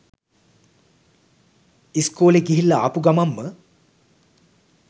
ඉස්කෝලේ ගිහිල්ලා ආපු ගමන්ම